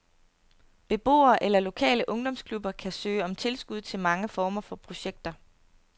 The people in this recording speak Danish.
Beboere eller lokale ungdomsklubber kan søge om tilskud til mange former for projekter.